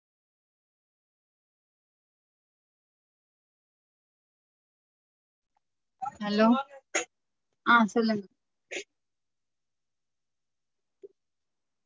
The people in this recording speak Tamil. Hello ஆஹ் சொல்லுங்க